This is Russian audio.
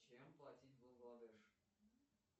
чем платить в бангладеш